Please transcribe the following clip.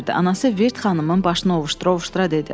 Anası Virt xanımın başını ovuşdura-ovuşdura dedi.